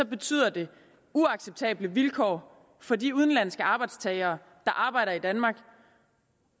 betyder det uacceptable vilkår for de udenlandske arbejdstagere der arbejder i danmark